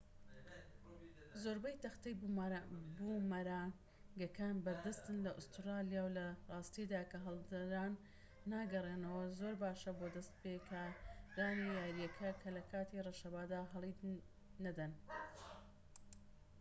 زۆربەی تەختەی بومەرانگەکان بەردەستن لە ئوستورالیا و لە راستیدا کە هەڵدران ناگەڕێنەوە زۆر باشە بۆ دەستپێکارانی یاریەکە کە لە کاتی ڕەشەبادا هەڵی نەدەن